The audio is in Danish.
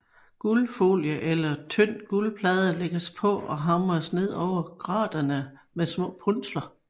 Guldfolie eller tynd guldplade lægges på og hamres ned over graterne med små punsler